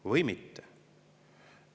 Või mitte.